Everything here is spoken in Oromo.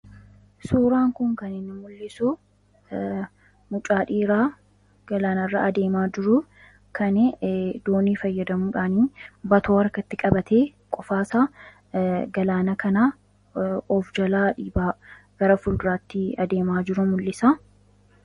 Suuraan kun kaniin mul'isu mucaadhiiraa galaanarra adeemaa jiru kani doonii fayyadamuudhaanii batoo warkatti qabate qofaasa galaana kanaa of jalaa dhiibaa gara fulduraattii adeemaa jiru mul'isa.